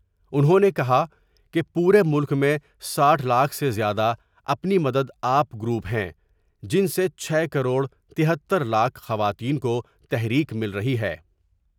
انہوں نے کہا کہ پورے ملک میں ساٹھ لاکھ سے زیادہ اپنی مدد آپ گروپ ہیں ، جن سے چھ کروڑ تہتر لاکھ خواتین کوتحر یک مل رہی ہے ۔